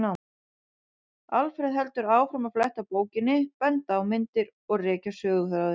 Alfreð heldur áfram að fletta bókinni, benda á myndir og rekja söguþráðinn.